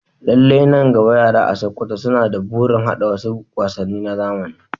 Lallai, nan gaba, yara a Sakkwato suna da burin haɗa wasu wasanni na zamani.